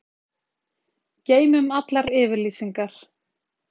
Geymum allar yfirlýsingar.